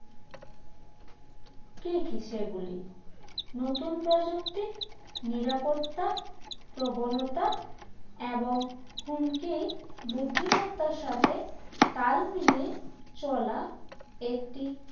কে কী সেগুলি নতুন প্রযুক্তি নিরাপত্তা প্রবণতা এবং হুমকি বুদ্ধিমত্তার সাথে তাল মিলিয়ে চলা একটি